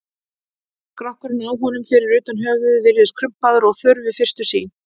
Skrokkurinn á honum, fyrir utan höfuðið, virðist krumpaður og þurr við fyrstu sýn.